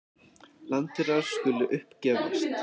Landaurar skulu upp gefast.